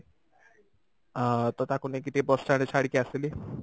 ଅ ତ ତାକୁ ନେଇକି ଟିକେ ବସାରେ ଛାଡିକି ଆସିଲି